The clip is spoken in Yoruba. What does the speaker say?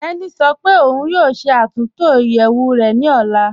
Tẹni sọ́ pé ọun yóò ṣẹ́ àtúntọ iyeẹwù rẹ ni ọlá.